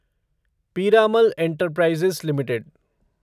Piramal enterprises limited